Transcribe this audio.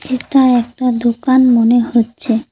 এটা একটা দোকান মনে হচ্ছে।